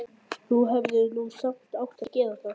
Þú hefðir nú samt átt að gera það.